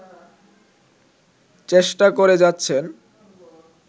চেষ্টা করে যাচ্ছেন